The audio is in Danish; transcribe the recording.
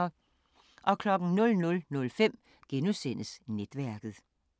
00:05: Netværket *